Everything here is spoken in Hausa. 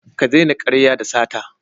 Ka daina karya da sata.